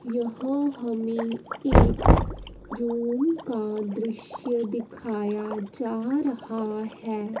यह हमें एक रूम का दृश्य दिखाया जा रहा है।